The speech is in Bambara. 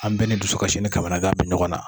An bɛɛ ni dusukasi ni kamanangan be ɲɔgɔn na